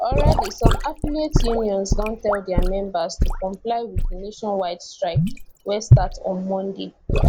already some affiliate unions don tell dia members to comply wit di nationwide strike wey start on monday